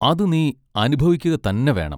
അത് നീ അനുഭവിക്കുക തന്നെ വേണം.